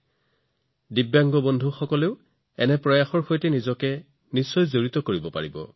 যিসকল দিব্যাংগ অংশীদাৰ তেওঁলোক এনে প্ৰচেষ্টাৰ সৈতেও জড়িত হব লাগিব